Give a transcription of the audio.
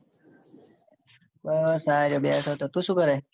બા આ બેઠો હતો. તું સુ કરે?